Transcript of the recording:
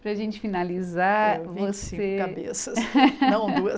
Para gente finalizar, você... cabeças, não duas.